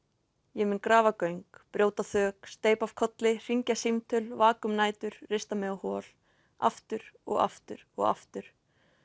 ég mun grafa göng brjóta þök steypa af kolli hringja símtöl vaka um nætur rista mig á hol aftur og aftur og aftur